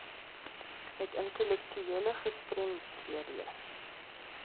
met intellektuele gestremdhede